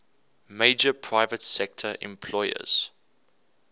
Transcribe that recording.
major private sector employers